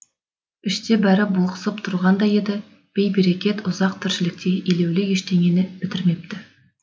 іште бәрі бұлықсып тұрғандай еді бей берекет ұзақ тіршілікте елеулі ештеңе бітірмепті